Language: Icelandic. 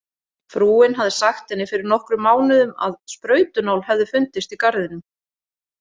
Frúin hafði sagt henni fyrir nokkrum mánuðum að sprautunál hefði fundist í garðinum.